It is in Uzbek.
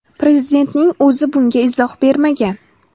Prezidentning o‘zi bunga izoh bermagan.